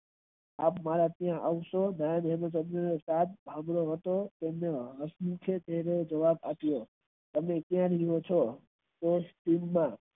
તેને હસી ને જવાબ અપિયો કેમ છે.